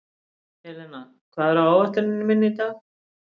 Helena, hvað er á áætluninni minni í dag?